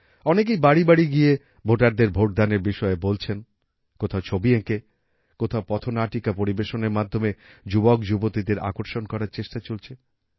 অনেকেই বাড়ি বাড়ি গিয়ে ভোটারদের ভোট দানের বিষয়ে বলছেন কোথাও ছবি এঁকে কোথাও পথনাটিকা পরিবেশনের মাধ্যমে যুবকযুবতীদের আকর্ষণ করার চেষ্টা চলছে